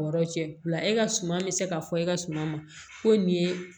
Yɔrɔ cɛla e ka suman mi se ka fɔ e ka suma ma ko nin ye